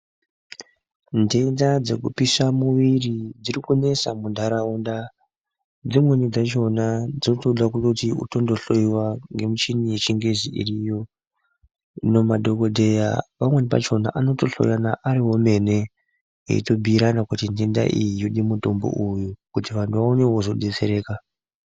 Ntenda dzekupisha muviri dziri kunesa muntaraunda. Dzimweni dzachona dzotoda kuti utondo hlowa nemichini yechingezi iriyo. Hino madhogodheya pamweni pachona anotohoya arivo emene eitombuirana kuti nhenda iyi yode mutombo uyu kuti vantu vaonevo kuzobetsereka.